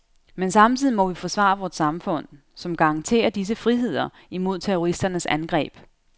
Men samtidig må vi forsvare vort samfund, som garanterer disse friheder, imod terroristernes angreb.